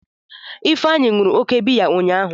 Ifeanyi ṅụrụ oke biya ụnyahụ.